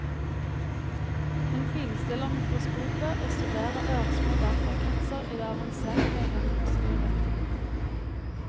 Hun finstiller mikroskopet og studerer ørsmå datakretser i det avanserte romutstyret.